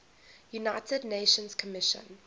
united nations commission